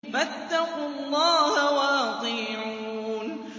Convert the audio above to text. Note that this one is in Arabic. فَاتَّقُوا اللَّهَ وَأَطِيعُونِ